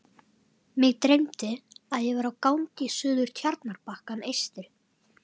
Mig dreymdi, að ég væri á gangi suður Tjarnarbakkann eystri.